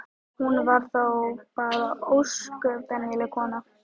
Hún var þó bara ósköp venjuleg kona.